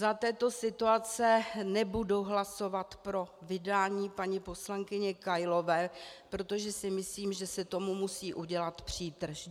Za této situace nebudu hlasovat pro vydání paní poslankyně Kailové, protože si myslím, že se tomu musí udělat přítrž.